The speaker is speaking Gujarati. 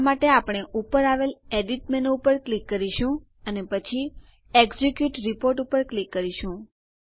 આ માટે આપણે ઉપર આવેલ એડિટ મેનુ પર ક્લિક કરીશું અને પછી એક્ઝિક્યુટ રિપોર્ટ ઉપર ક્લિક કરીશું